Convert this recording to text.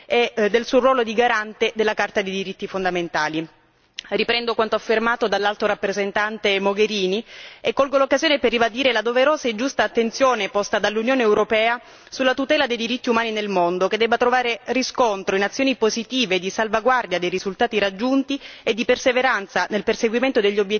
Riprendo quanto affermato dall'Alto rappresentante Mogherini e colgo l'occasione per ribadire la doverosa e giusta attenzione posta dall'Unione europea sulla tutela dei diritti umani nel mondo, che debba trovare riscontro in azioni positive di salvaguardia dei risultati raggiunti e di perseveranza nel perseguimento degli obiettivi di garanzia dei diritti fondamentali anche all'interno dell'Unione.